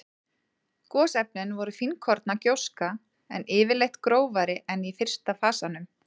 Gosefnin voru fínkorna gjóska, en yfirleitt grófari en í fyrsta fasanum.